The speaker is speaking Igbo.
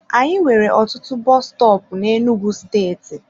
Anyị nwere ọtụtụ bọs stọọpu n'Enugwu steeti.